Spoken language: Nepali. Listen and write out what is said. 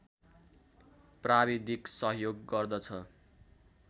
प्राविधिक सहयोग गर्दछ